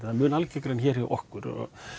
það er mun algengara en hjá okkur